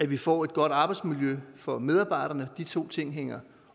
vi får et godt arbejdsmiljø for medarbejderne de to ting hænger